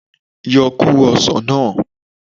Yo kóró osàn náà